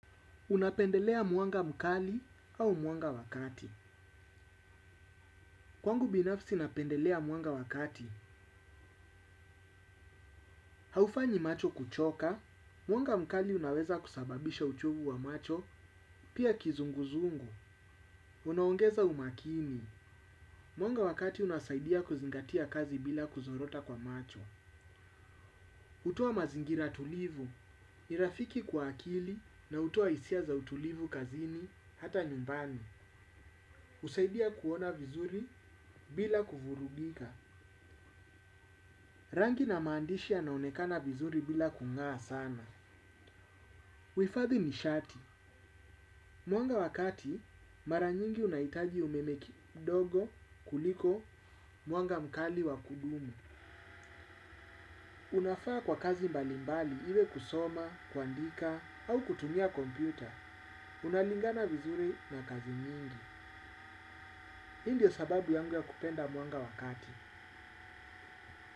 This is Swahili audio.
Unapendelea mwanga mkali au mwanga wakati kwangu binafsi napendelea mwanga wa kati. Haufanyi macho kuchoka, mwanga mkali unaweza kusababisha uchovu wa macho, pia kizunguzungu. Unaongeza umakini. Mwanga wa kati unasaidia kuzingatia kazi bila kuzorota kwa macho. Hutoa mazingira tulivu. Ni rafiki kwa akili na hutoa hisia za utulivu kazini, hata nyumbani. Husaidia kuona vizuri bila kuvurugika. Rangi na maandishi yanaonekana vizuri bila kung'aa sana. Huhifadhi nishati. Mwanga wakati, mara nyingi unahitaji umeme kidogo, kuliko mwanga mkali wa kudumu. Unafaa kwa kazi mbalimbali, iwe kusoma, kuandika, au kutumia kompyuta. Unalingana vizuri na kazi nyingi. Hii ndio sababu yangu ya kupenda mwanga wa kati.